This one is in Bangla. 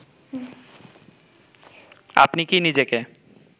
আপনি কী নিজেকে